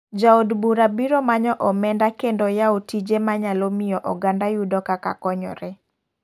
Ja od bura biro manyo omeda kendo yawo tije manyalo miyo oganda yudo kaka konyore.